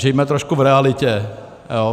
Žijme trošku v realitě.